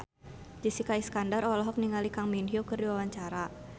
Jessica Iskandar olohok ningali Kang Min Hyuk keur diwawancara